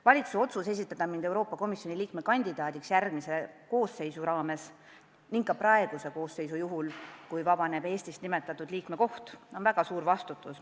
Valitsuse otsus esitada mind Euroopa Komisjoni järgmise koosseisu ning ka praeguse koosseisu – juhul, kui Eestis see koht vabaneb – liikme kandidaadiks tähendab mulle väga suurt vastutust.